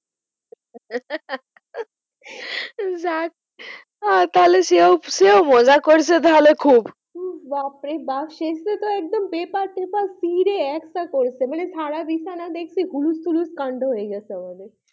যাক আহ তাহলে সেও সেও মজা করছে তাহলে খুব হম বাপরে বাপ্ শেষে তো একদম পেপার টেপার ছিড়ে একসা করেছে মানে সারা বিছানা দেখছি হুলুস-থুলুস কান্ড হয়ে গেছে আমাদের।